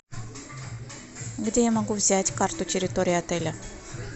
где я могу взять карту территории отеля